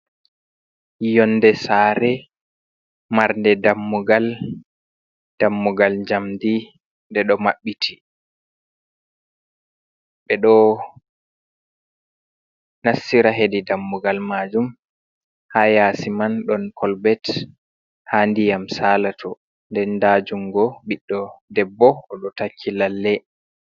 Yonde sare marnde dammugal, dammugal jamɗi ɗeɗo maɓɓiti, ɓeɗo nassira hedi dammugal majum, ha yasi man ɗon kolbet ha ndiyam salato, nden nda jungo ɓiɗɗo debbo oɗo takki lalle.